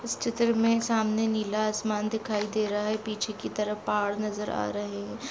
इस चित्र में सामने नीला आसमान दिखाई दे रहा है पीछे की तरफ पहाड़ नजर आ रहे है।